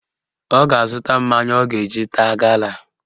Ọ ga-azụta mmanya ọ ga-eji taa gala